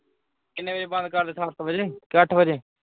ਕਿੰਨੇ ਵਜੇ ਬੰਦ ਕਰਦੇ ਸੱਤ ਵਜੇ ਕਿ ਅੱਠ ਵਜੇ